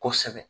Kosɛbɛ